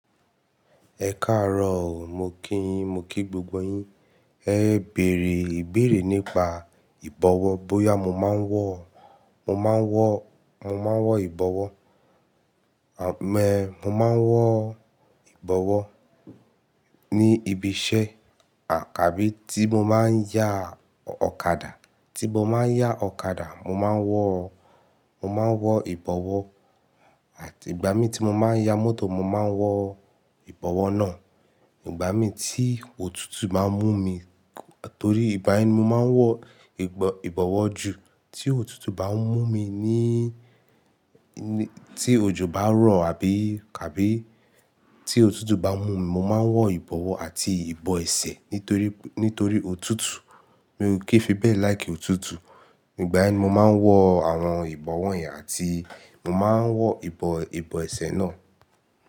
Ẹ káàárọ̀ o, mo kí yín, mo kí gbogbo yín. Ẹ bèèrè ìbéèrè nípa ìbọ̀wọ́, bóyá mo máa ń wọ, mo máa ń wọ, mo máa ń wọ ìbọ̀wọ́. Àmọ́ ẹ, mo máa ń wọ ìbọ̀wọ́ ní ibi iṣẹ́ à kàbí tí mo báa ń yá ọ̀kadà. Tí mo báa ń yá ọ̀kadà mo máa ń wọ, mo máa ń wọ ìbọ̀wọ́ àti ìgbà mii tí mo máa ń ya mọ́tò mo máa ń wọ ìbọ̀wọ́ náà. Ìgbà mi tí òtútù bá ń mú mi, torí ìgbà yii nibmo máa ń wọ ìbọ̀-ìbọ̀wọ́ jù tí òtútù bá ń mú mi ní-ní, tí òjò bá ń rọ̀ àbí, àbí tí òtútù bá ń mú mi, mo máa ń wọ ìbọ̀wọ́ àti ìbọ̀ ẹsẹ̀ nítorí, nítorí òtútù. Mi ò kin fi bẹ́ẹ̀ like òtútù. Ìgbà yen ni mo máa ń wọ àwọn ìbọ̀wọ́ yẹn àti mo máa ń wọ ìbọ̀-ìbọ̀ ẹsẹ̀ náà.